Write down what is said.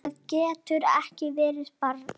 Það getur ekki verið, barn!